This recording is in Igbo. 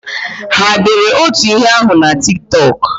Ha dere otu ihe ahụ na Tik Tọk?